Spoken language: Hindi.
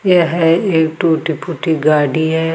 यह एक टूटी फूटी गाडी है।